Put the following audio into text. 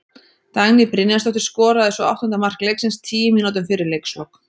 Dagný Brynjarsdóttir skoraði svo áttunda mark leiksins tíu mínútum fyrir leikslok.